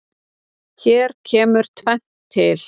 Hér kemur tvennt til.